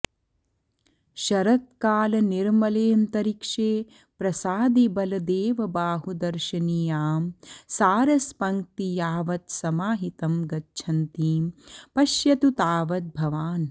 शरत्कालनिर्मलेऽन्तरिक्षे प्रसादितबलदेवबाहुदर्शनीयां सारसपङ्क्ति यावत् समाहितं गच्छन्तीं पश्यतु तावद् भवान्